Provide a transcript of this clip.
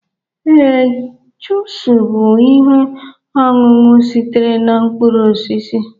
Ee, jusuu bụ ihe ọṅụṅụ sitere na mkpụrụ osisi